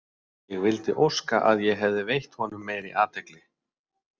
Ég vildi óska að ég hefði veitt honum meiri athygli.